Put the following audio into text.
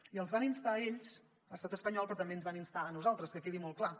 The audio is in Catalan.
i els hi van instar a ells estat espanyol però també ens hi van instar a nosaltres que quedi molt clar